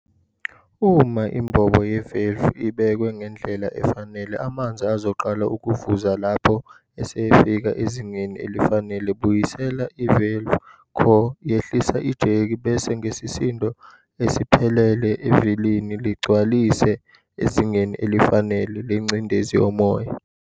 Uma imbobo yevalve iibekwe ngendlela efanele, amanzi azoqala ukuvuza lapho esefika ezingeni elifanele. Buyisela ivalve core, yehlisa ijeki bese ngesisindo esiphelele evilini ligcwalise ezingeni elifanele lengcindezi yomoya.